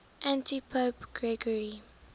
antipope gregory